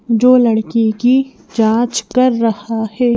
जो लड़की की जांच कर रहा है।